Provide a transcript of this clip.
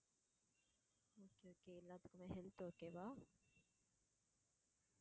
okay okay எல்லாத்துக்குமே healthokay வா?